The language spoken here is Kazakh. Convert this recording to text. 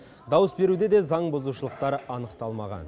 дауыс беруде де заңбұзушылықтар анықталмаған